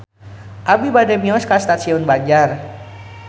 Abi bade mios ka Stasiun Banjar